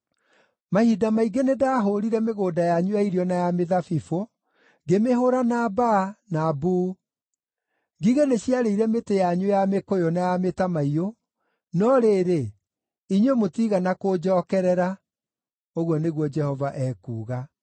“Mahinda maingĩ nĩndahũũrire mĩgũnda yanyu ya irio na ya mĩthabibũ, ngĩmĩhũũra na mbaa, na mbuu. Ngigĩ nĩciarĩire mĩtĩ yanyu ya mĩkũyũ na ya mĩtamaiyũ, no rĩrĩ, inyuĩ mũtiigana kũnjookerera,” ũguo nĩguo Jehova ekuuga.